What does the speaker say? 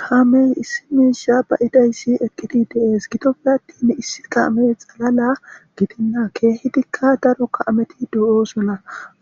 Kaame issi miisha ba'izaysi de'es gidoppe attin issi kaame xalala gidena keehika daro kaameti de'osona